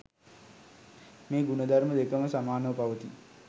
මේ ගුණ ධර්ම දෙකම සමානව පවතී.